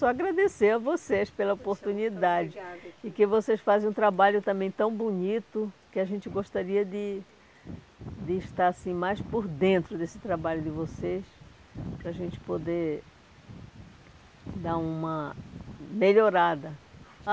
Só agradecer a vocês pela oportunidade e que vocês fazem um trabalho também tão bonito que a gente gostaria de de estar assim mais por dentro desse trabalho de vocês para a gente poder dar uma melhorada.